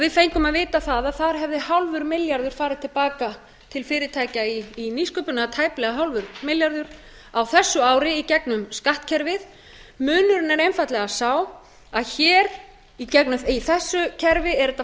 við fengum að vita það að þar hefði hálfur milljarður farið til baka til fyrirtækja í nýsköpun tæplega hálfur milljarður á þessu ári í gegnum skattkerfið munurinn er einfaldlega sá að í þessu kerfi er hægt að fara